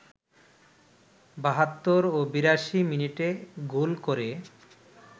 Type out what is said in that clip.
৭২ ও ৮২ মিনিটে গোল করে